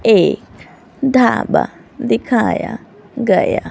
एक ढाबा दिखाया गया--